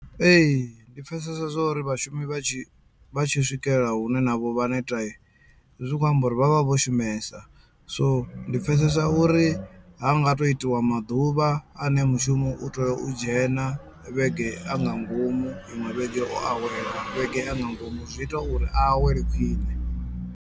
Ee ndi pfhesesa zwo uri vhashumi vha tshi vha tshi swikela hune navho vha neta zwi khou amba uri vha vha vho shumesa so ndi pfhesesa uri ha nga to itiwa maḓuvha ane mushumo u teo u dzhena vhege a nga ngomu iṅwe vhege o awela vhege a nga ngomu zwi ita uri a awele khwiṋe.